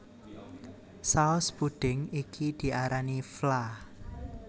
Saos pudhing iki diarani vla